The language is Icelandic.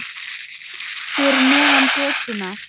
Fyrir neðan götuna.